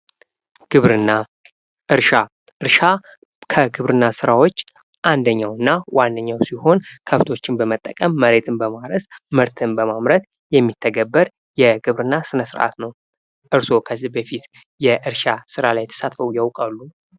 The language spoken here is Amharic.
ግብርና ፦እርሻ ፦እርሻ ከግብርና ስራዎች አንድኛው እና ዋነኛው ሲሆን ከብቶችን በመጠቀም መሬትን በማረስ ምርትን በማምረት የሚተገበር የግብርና ስነስርዓት ነው። እርስዎ ከዚህ በፊት የእርሻ ስራ ላይ ተሰማርተው ያውቃሉ?